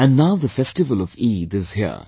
And now the festival of Eid is here